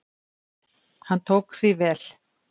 Hann tók því vel.